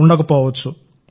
ఉండకపోవచ్చు